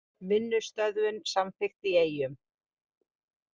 Vinnustöðvun samþykkt í Eyjum